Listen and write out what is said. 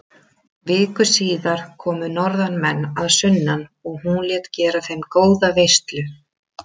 Viku síðar komu norðanmenn að sunnan og hún lét gera þeim góða veislu.